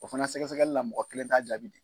O fana sɛgɛsɛgɛli la mɔgɔ kelen t'a jaabi di.